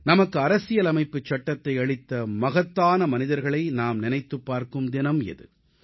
நமக்கு அரசியலமைப்புச் சட்டத்தை அளித்த மகத்தான மனிதர்களை நாம் நினைத்துப் பார்க்கும் தினம் இது